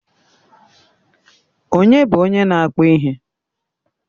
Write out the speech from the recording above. Ònye bụ onye na-akpụ ihe?